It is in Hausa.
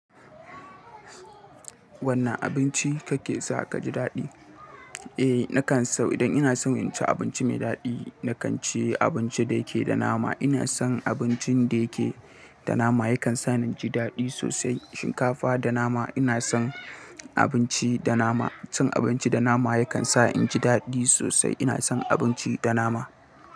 Wane abinci kake sa ka ji daɗi? Eh, nakan so idan ina son in ci abinci mai daɗi, na kan ci abinci da yake da nama. Ina son abincin da yake da nama yakan sa ni inji daɗi sosai. Shinkafa da nama ina son abinci da nama. Cin abinci da nama yakan sa in ji daɗi sosai. Ina son abinci da nama.